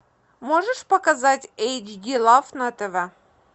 можешь показать эйч ди лав на тв